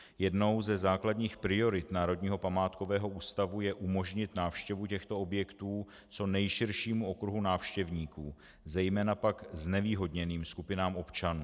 Jednou ze základních priorit Národního památkového ústavu je umožnit návštěvu těchto objektů co nejširšímu okruhu návštěvníků, zejména pak znevýhodněným skupinám občanů.